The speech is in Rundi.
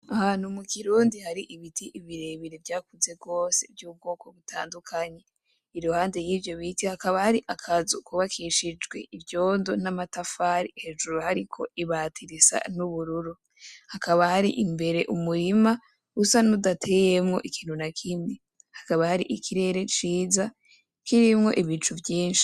Ahantu mu kirundi hari ibiti birebire vyakuze gose vyubwoko butandukanye, iruhande yivyo biti hakaba hari akazu kubakishijwe ivyondo n'amatafari hejuru hariko ibati risa n'ubururu, hakaba hari imbere umurima usa n'udateyemwo ikintu na kimwe, hakaba hari ikirere ciza kirimwo ibicu vyinshi.